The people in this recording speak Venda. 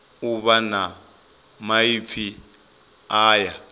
u vha na maipfi aya